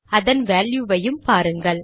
அதன் வேல்யுவையும் பாருங்கள்